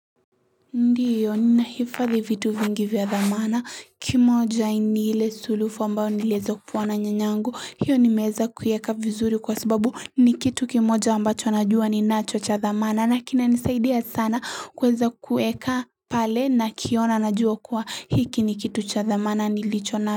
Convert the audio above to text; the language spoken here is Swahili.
Ndiyo ninahifadhi vitu vingi vya dhamana kimoja ni ile sulufu ambao niliweza kupewa na nyanyangu hiyo nimeeza kuieka vizuri kwa sababu ni kitu kimoja ambacho najua ninacho cha dhamana na kinanisaidia sana kuweza kueka pale nakiona najua kuwa hiki ni kitu cha dhamana nilicho na.